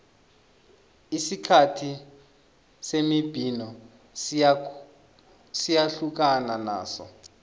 isikhathi semibhino siyahlukana naso